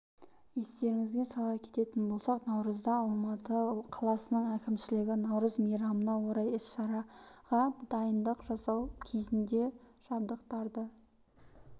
естеріңізге сала кететін болсақ наурызда алматы қаласының әкімшілігі наурыз мейрамына орай іс-шараға дайындық жасау кезінде жабдықтарды